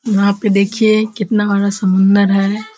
यहाँ पे देखिए कितना बड़ा समुन्द्र है।